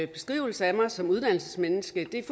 beskrivelse af mig som et uddannelsesmenneske det er